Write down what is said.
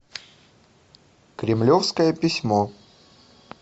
кремлевское письмо